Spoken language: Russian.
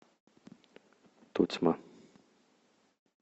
тотьма